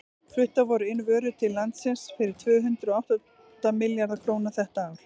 fluttar voru inn vörur til landsins fyrir tvö hundruð og átta milljarða króna þetta ár